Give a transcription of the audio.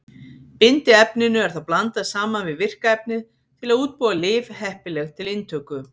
Bindiefninu er þá blandað saman við virka efnið til að útbúa lyf heppileg til inntöku.